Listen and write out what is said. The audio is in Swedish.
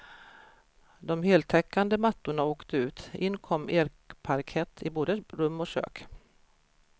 De heltäckande mattorna åkte ut, in kom ekparkett i både rum och kök.